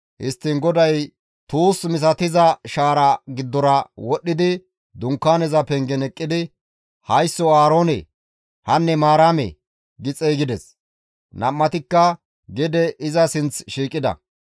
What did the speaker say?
Histtiin GODAY tuus misatiza shaara giddora wodhdhidi Dunkaaneza pengen eqqidi, «Haysso Aaroone! Hanne Maaramee!» gi xeygides; Nam7atikka gede iza sinth shiiqida.